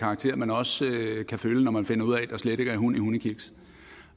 karakter man også kan føle når man finder ud af fra at der slet ikke er hund i hundekiks